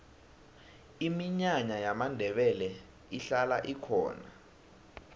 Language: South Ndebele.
iminyanya yamandebele ihlala ikhona